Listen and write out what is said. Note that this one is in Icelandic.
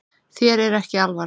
Þér er ekki alvara